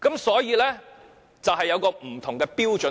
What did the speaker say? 所以，署方是持不同的標準。